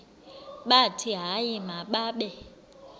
bathi hayi mababe